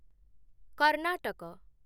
Karnataka